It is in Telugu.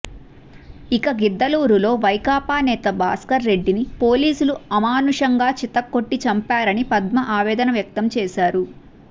ఇక గిద్దలూరులో వైకాపా నేత భాస్కర్ రెడ్డిని పోలీసులు అమానుషంగా చితకొట్టి చంపారని పద్మ ఆవేదన వ్యక్తం చేసారు